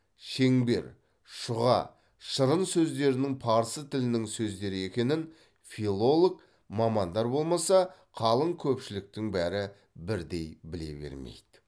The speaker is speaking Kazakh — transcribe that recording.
шеңбер шұға шырын сөздерінің парсы тілінің сөздері екенін филолог мамандар болмаса қалың көпшіліктің бәрі бірдей біле бермейді